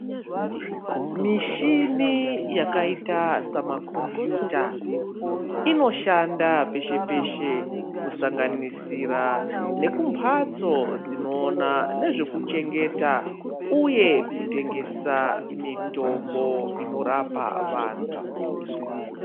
Mishini yakaita yemakombuyuta inoshanda peshe peshe kusanganisira nekumbatso dzinoona nezvekuchengeta uye kutengesa mitombo inorapa vantu.